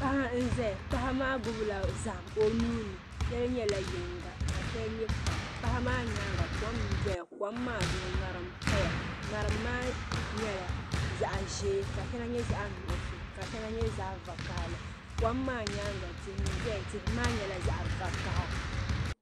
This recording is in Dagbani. Paɣi n zaya paɣimaa gbubla zahim onuuni shɛli nyala yiŋga ka sheli nya pam. paɣi maa nyaaŋa kom n-doya ka kom maa zuɣu ŋariŋ. n paya. ŋariŋ maa nyala zaɣi zɛɛ ka shaŋa nyɛ zaɣi nuɣuso ka shɛŋa nyɛ zaɣi va kahili kom maa. nyaaŋa tihi n zaya tihimaa nyala zaɣi vakaha.